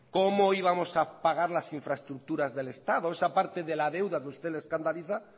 cómo íbamos a pagar las infraestructuras del estado esa parte de la deuda que a usted le escandaliza